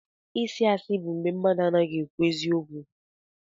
ịsị asi bụ mgbé mmadụ anaghị ekwu eziokwu.